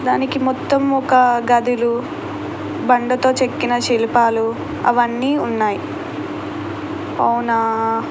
దానికి మొత్తం ఒక గదిలు బండతో చెక్కిన శిల్పాలు అవన్నీ ఉన్నాయి. అవునా --